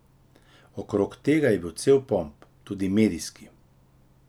Okrog tega je bil cel pomp, tudi medijski.